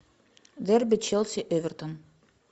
дерби челси эвертон